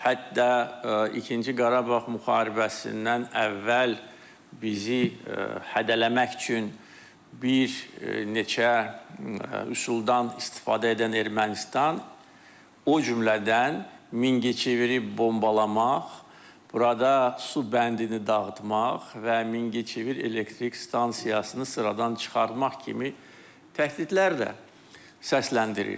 Hətta İkinci Qarabağ müharibəsindən əvvəl bizi hədələmək üçün bir neçə üsuldan istifadə edən Ermənistan o cümlədən Mingəçeviri bombalamaq, burada su bəndini dağıtmaq və Mingəçevir elektrik stansiyasını sıradan çıxartmaq kimi təhdidlər də səsləndirirdi.